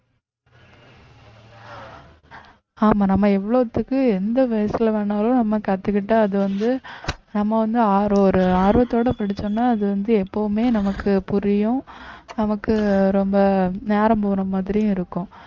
ஆமா நம்ம எவ்வளவுத்துக்கு எந்த வயசுல வேணாலும் நம்ம கத்துக்கிட்டா அது வந்து நம்ம வந்து ஆர்~ ஒரு ஆர்வத்தோட படிச்சோம்ன்னா அது வந்து எப்பவுமே நமக்கு புரியும் நமக்கு ரொம்ப நேரம் போன மாதிரியும் இருக்கும்